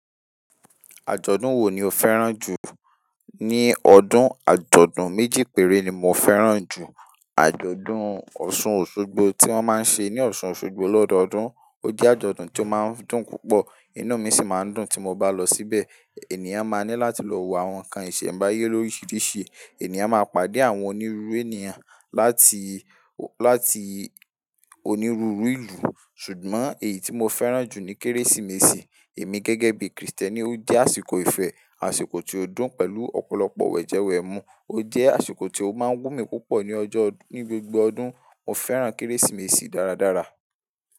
Àjọ̀dún wo ni o fẹ́ràn jù? Ni ọdún, àjọ̀dún méjì péré ni mo fẹ́ràn jù. Àjọ̀dún Ọ̀ṣun Òṣogbo tí wọ́n máa ń ṣe ní Ọ̀ṣun Òṣogbo lọ́dọọdún. Ó jẹ́ àjọ̀dún tí ó máa ń dùn púpọ̀. Inú mi sì máa ń dùn tí mo bá lọ síbẹ̀. Ènìyàn máa ní láti lọ wo àwọn nǹkan ìṣẹ̀mbáyé lóyè oríṣiríṣi. Ènìyàn máa pàdé àwọn onírúurú ènìyàn láti, láti onírúurú ìlú. Ṣùgbọ́n èyí tí mo fẹ́ràn jù ni Kérésìmesì. Èmi gẹ́gẹ́ bí Kristẹni ó jẹ́ àsìkò ìfẹ́, àsìkò tí ó dùn pẹ̀lú ọ̀pọ̀lọpọ̀ wẹ̀jẹwẹ̀mu. Ó jẹ́ àsìkò tí ó máa ń wù mí púpọ̀ ní ọjọ́, ní gbogbo ọdún. Mo fẹ́ràn Kérésìmesì dáradára.